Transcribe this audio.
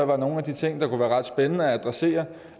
være nogle af de ting der kunne være ret spændende at adressere